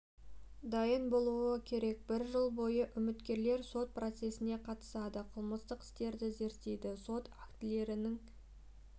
дайын болуы керек бір жыл бойы үміткерлер сот процестеріне қатысады қылмыстық істерді зерттейді сот актілерінің